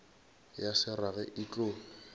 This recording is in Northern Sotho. ya se rage e tlo